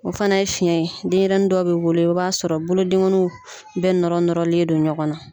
O fana ye fiyɛn ye denɲɛrɛnin dɔw bɛ wolo i b'a sɔrɔ bolodengɔninw bɛɛ nɔrɔ nɔrɔlen do ɲɔgɔn na.